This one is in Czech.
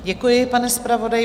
Děkuji, pane zpravodaji.